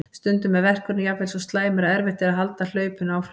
Stundum er verkurinn jafnvel svo slæmur að erfitt er að halda hlaupinu áfram.